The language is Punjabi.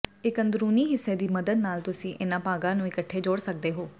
ਇੱਕ ਅੰਦਰੂਨੀ ਹਿੱਸੇ ਦੀ ਮਦਦ ਨਾਲ ਤੁਸੀਂ ਇਹਨਾਂ ਭਾਗਾਂ ਨੂੰ ਇੱਕਠੇ ਜੋੜ ਸਕਦੇ ਹੋ